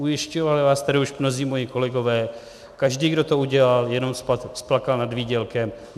Ujišťovali vás tady už mnozí moji kolegové, každý, kdo to udělal, jenom splakal nad výdělkem.